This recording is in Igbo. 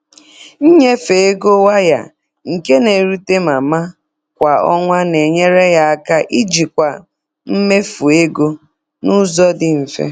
Nnyefe ego waya, nke n'erute mama kwa ọnwa na-enyere ya aka ijikwa mmefu ego n'ụzọ dị mfe.